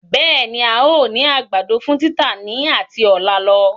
Bẹẹni, Áà ó ní àgbàdo fún títà ni ati ọ̀la lọ.